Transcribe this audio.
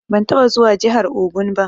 Ban taɓa zuwa jihar Ogun ba.